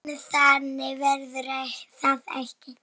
En þannig verður það ekki.